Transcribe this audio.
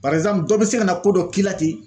dɔ bɛ se ka na ko dɔ k'i la ten